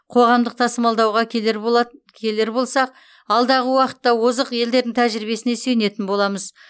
қоғамдық тасымалдауға келер болат келер болсақ алдағы уақытта озық елдердің тәжірибесіне сүйенетін боламыз